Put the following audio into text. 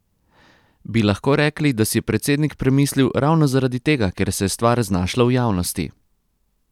Bi lahko rekli, da si je predsednik premislil ravno zaradi tega, ker se je stvar znašla v javnosti?